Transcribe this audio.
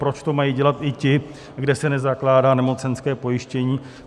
Proč to mají dělat i ti, kde se nezakládá nemocenské pojištění?